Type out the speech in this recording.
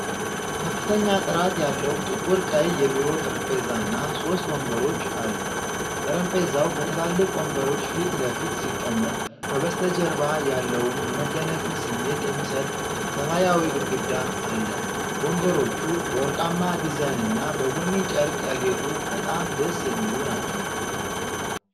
ከፍተኛ ጥራት ያለው፣ ጥቁር ቀይ የቢሮ ጠረጴዛና ሶስት ወንበሮች አሉ። ጠረጴዛው በትላልቅ ወንበሮች ፊት ለፊት ሲቀመጥ፣ ከበስተጀርባ ያለውን የመደነቅን ስሜት የሚሰጥ ሰማያዊ ግድግዳ አለ። ወንበሮቹ በወርቃማ ዲዛይንና በቡኒ ጨርቅ ያጌጡ በጣም ደስ የሚሉ ናቸው።